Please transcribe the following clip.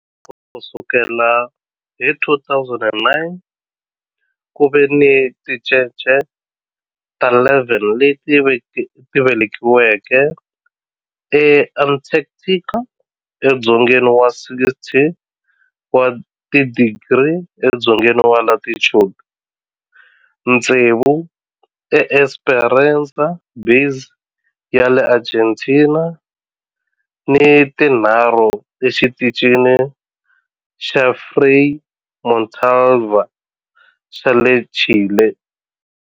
Ku sukela hi 2009, ku ve ni tincece ta 11 leti velekiweke eAntarctica, edzongeni wa 60 wa tidigri edzongeni wa latitude, tsevu eEsperanza Base ya le Argentina ni tinharhu eXitichini xa Frei Montalva xa le Chile.